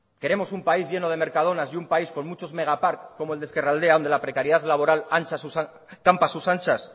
queremos un país lleno de mercadonas y un país con muchos megaparks como el de ezkerraldea donde la precariedad laboral campa a sus anchas